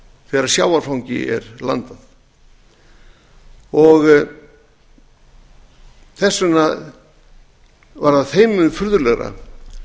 þegar sjávarfangi er landað þess vegna var þeim mun furðulegra